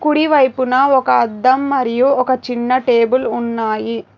కుడి వైపున ఒక అద్దం మరియు ఒక చిన్న టేబుల్ ఉన్నాయి.